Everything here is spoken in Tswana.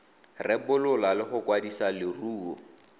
rebola le go kwadisa leruo